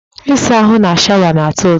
Ịsa ahụ na shawa na-atọ ụtọ